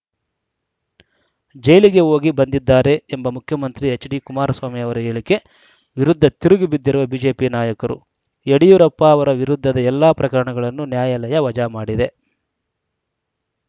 ಜೈಲಿಗೆ ಹೋಗಿ ಬಂದಿದ್ದಾರೆ ಎಂಬ ಮುಖ್ಯಮಂತ್ರಿ ಎಚ್‌ಡಿಕುಮಾರಸ್ವಾಮಿ ಅವರ ಹೇಳಿಕೆ ವಿರುದ್ಧ ತಿರುಗಿ ಬಿದ್ದಿರುವ ಬಿಜೆಪಿ ನಾಯಕರು ಯಡಿಯೂರಪ್ಪ ಅವರ ವಿರುದ್ಧದ ಎಲ್ಲ ಪ್ರಕರಣಗಳನ್ನು ನ್ಯಾಯಾಲಯ ವಜಾ ಮಾಡಿದೆ